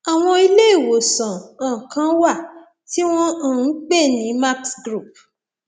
àwọn ilé ìwòsàn um kan wà tí wọn um ń pè ní max group